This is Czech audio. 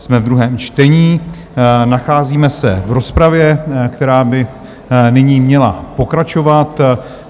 Jsme ve druhém čtení, nacházíme se v rozpravě, která by nyní měla pokračovat.